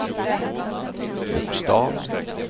bokstav